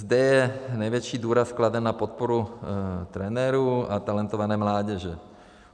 Zde je největší důraz kladen na podporu trenérů a talentované mládeže.